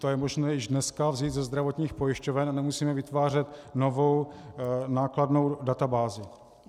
To je možné již dneska vzít ze zdravotních pojišťoven a nemusíme vytvářet novou nákladnou databázi.